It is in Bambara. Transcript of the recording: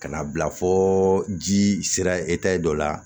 Ka na bila fo ji sera dɔ la